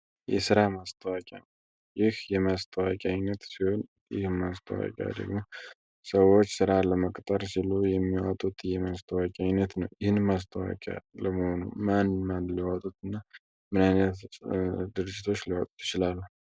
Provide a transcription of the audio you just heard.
የስራ ማስታወቂያ ይህ የማስታወቂያ አይነት ሲሆን የስራ ማስታወቂያ ደግሞ ሰዎች ስራ ለመቅጠር ሲሉ የሚያወጡት የማስታወቂያ አይነት ነው። ይህን ማስታወቂያ ለመሆኑ ማን ማን ሊያወጡት እና ምን አይነት ድርጅቶች ሊያወጡት ይችላሉ?